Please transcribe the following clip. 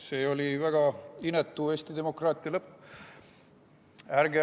See oli väga inetu Eesti demokraatia lõpp.